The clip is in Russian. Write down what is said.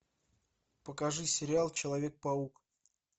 покажи сериал человек паук